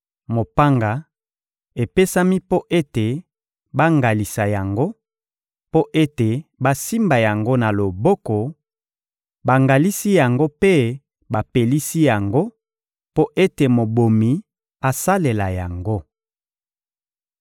Mopanga epesami mpo ete bangalisa yango, mpo ete basimba yango na loboko; bangalisi yango mpe bapelisi yango mpo ete mobomi asalela yango.